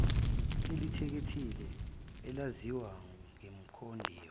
elikhethekile elaziwa ngekomidi